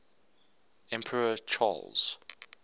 emperor charles